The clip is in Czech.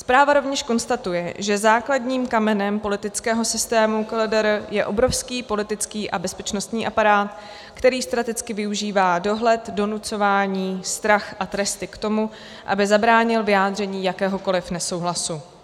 Zpráva rovněž konstatuje, že základním kamenem politického systému KLDR je obrovský politický a bezpečnostní aparát, který strategicky využívá dohled, donucování, strach a tresty k tomu, aby zabránil vyjádření jakéhokoliv nesouhlasu.